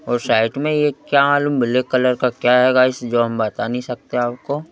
और साइट में यह क्या मालूम ब्लैक कलर का क्या है गाइस जो हम बता नहीं सकते आपको--